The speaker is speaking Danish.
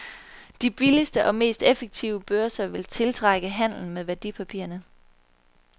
De billigste og mest effektive børser vil tiltrække handelen med værdipapirerne.